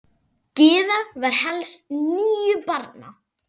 Gyða var elst níu barna.